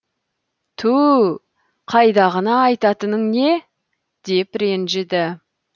түу қайдағыны айтатының не деп ренжіді